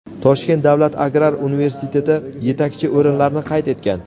Toshkent davlat agrar universiteti yetakchi o‘rinlarni qayd etgan.